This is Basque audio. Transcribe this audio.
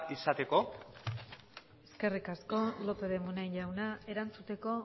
izateko eskerrik asko lópez de munain jauna erantzuteko